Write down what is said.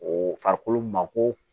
O farikolo ma ko